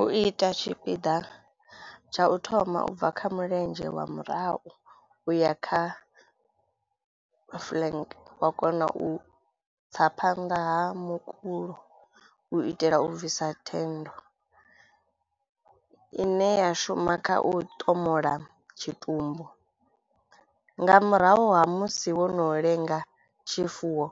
U ita tshipiḓa tsha u thoma ubva kha mulenzhe wa murahu u ya kha flank wa kona u tsa phanḓa ha mukulo u itela u bvisa thendo ine ya shuma kha u tomola tshitumbu. Nga murahu ha musi wo no lenga tshifuwo